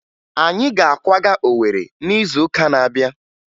Anyị ga-akwaga Owere n'izuụka na-abịa